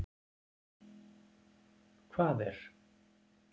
Hvað er